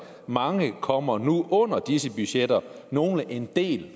mange kommer nu under disse budgetter nogle en del